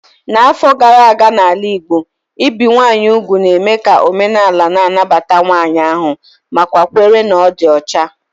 N'afọ gara aga n'ala Igbo, ibi ụmụ nwanyị úgwù na-eme ka omenaala na-anabata nwanyị ahu nakwa nkwere na ọ dị ọcha.